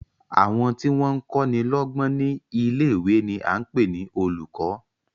Àwọn tí wọ́n kọ́ni lọ́gbọ́n ní ilé-ìwé ni à ń pè ní olùkọ́.